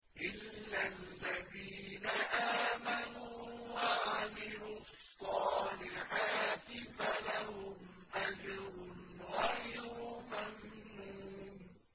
إِلَّا الَّذِينَ آمَنُوا وَعَمِلُوا الصَّالِحَاتِ فَلَهُمْ أَجْرٌ غَيْرُ مَمْنُونٍ